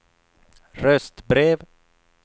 röstbrev